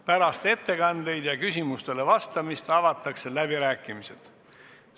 Pärast ettekandeid ja küsimustele vastamist avatakse läbirääkimised.